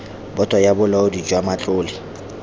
boto ya bolaodi jwa matlole